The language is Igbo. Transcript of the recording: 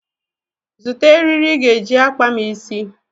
Zụta eri ị ga-eji akpa m isi.